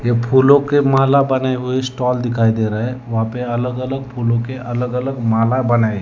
ये फूलों के माला बने हुए स्टॉल दिखाई दे रहा हैं वहां पे अलग अलग फूलों के अलग अलग माला बनाया है।